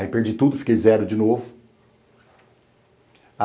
Aí perdi tudo, fiquei zero de novo.